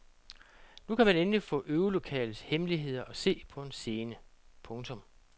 Nu kan man endelig få øvelokalets hemmeligheder at se på en scene. punktum